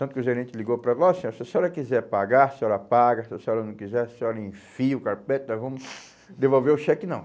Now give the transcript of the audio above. Tanto que o gerente ligou para nós, ó, se a senhora quiser pagar, a senhora paga, se a senhora não quiser, a senhora enfia o carpete, nós vamos devolver o cheque não.